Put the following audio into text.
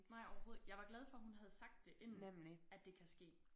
Nej overhovedet jeg var glad for hun havde sagt det inden at det kan ske